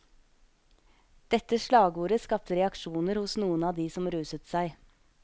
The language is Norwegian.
Dette slagordet skapte reaksjoner hos noen av de som ruset seg.